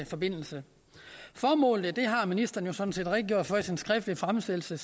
forbindelse formålet har ministeren jo sådan set redegjort for i sin skriftlige fremsættelse